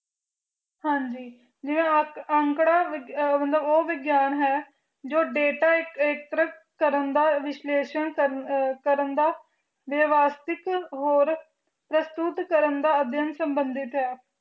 ਹਨ ਜੀ ਜਿਵੇਂ ਅੰਕੜਾ ਉਹ ਵਿਗਿਆਨ ਹੈ ਜੋ delta ਐਕਟ੍ਰਿਕ ਕਰਨ ਦਾ ਵਿਸ਼ਲਾਇਸ਼ਾਂ ਕਰਨ ਦਾ ਵਸਟਿਕ ਤੇ ਅਸ਼ਯੁਡ ਕਰਨ ਦਾ ਸਮੰਧ ਹੈ